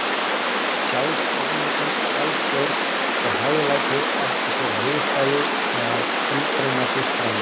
sjálfsafneitun, sjálfsstjórn og hæglæti, áttu sér hliðstæðu meðal hjúkrunarsystranna.